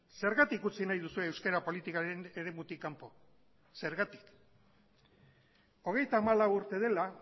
zergatik utzi nahi duzue euskara politikaren eremutik kanpo zergatik hogeita hamalau urte dela